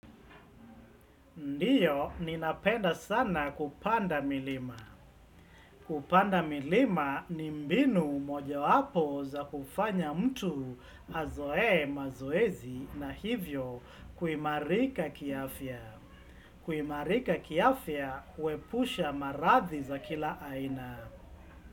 Ndio, ninapenda sana kupanda milima. Kupanda milima ni mbinu moja wapo za kufanya mtu azoe mazoezi na hivyo kuimarika kiafya. Kuimarika kiafya huepusha maradhi za kila aina.